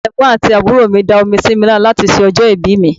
Àwọn Ẹ̀gbọ́n àti àbúrò mi da omi sí mi lára láti ṣe ọjọ́ ìbí mi.